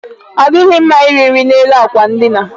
Ọ dịghị mma iri nri n'elu àkwà ndina.